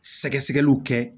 Sɛgɛsɛgɛliw kɛ